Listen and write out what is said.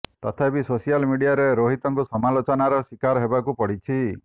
ତଥାବି ସୋସିଆଲ ମିଡ଼ିଆରେ ରୋହିତଙ୍କୁ ସମାଲୋଚନାର ଶିକାର ହେବାରୁ ପଡ଼ିଛି